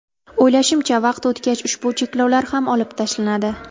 O‘ylashimcha, vaqt o‘tgach ushbu cheklovlar ham olib tashlanadi.